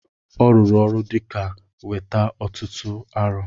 Ọ rụrụ ọrụ dịka weta ọtụtụ arọ